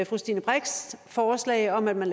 fru stine brix forslag om at man